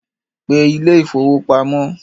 Pe ilé ìfowópamọ́